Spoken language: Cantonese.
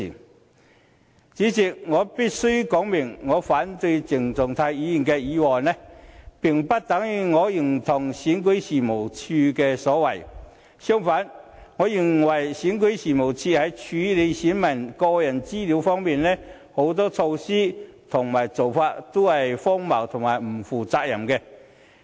代理主席，我必須說明我反對鄭松泰議員的議案，並不等於我認同選舉事務處的所為；相反，我認為選舉事務處在處理選民個人資料方面，有很多措施和做法都是荒謬和不負責任的。